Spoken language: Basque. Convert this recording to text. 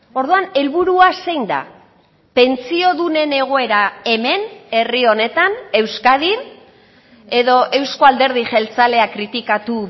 orduan helburua zein da pentsiodunen egoera hemen herri honetan euskadin edo euzko alderdi jeltzalea kritikatu